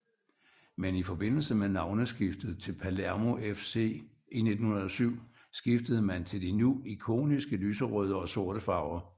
Men i forbindelse med navneskiftet til Palermo FC i 1907 skiftede man til de nu ikoniske lyserøde og sorte farver